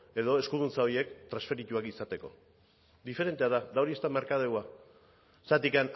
eta eskuduntza horiek transferituak izateko diferentea da eta hori ez da merkadeoa zergatik